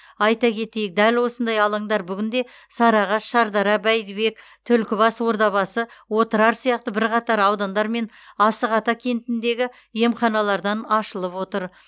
айта кетейік дәл осындай алаңдар бүгінде сарыағаш шардара бәйдібек түлкібас ордабасы отырар сияқты бірқатар аудандар мен асық ата кентіндегі емханалардан ашылып отыр